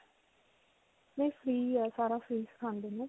ਇਹ free ਹੈ. ਸਾਰਾ free ਸਿਖਾਉਂਦੇ ਨੇ.